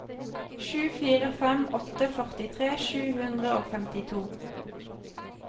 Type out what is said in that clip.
sju fire fem åtte førtifire sju hundre og femtito